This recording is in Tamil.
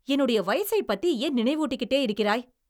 என்னுடைய வயசைப் பத்தி ஏன் நினைவூட்டிக்கிட்டே இருக்கிறாய்?